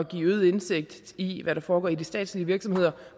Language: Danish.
at give øget indsigt i hvad der foregår i de statslige virksomheder